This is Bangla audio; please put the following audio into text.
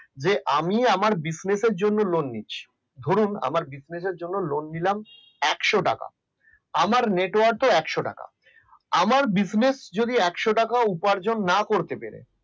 যে আমি আমার business জন্য lone নিচ্ছি ধরুন আমার business জন্য lone নিলাম একশো টাকা। আমার network একশো টাকা আমার business যদি একশো টাকা উপার্জন না করতে পারে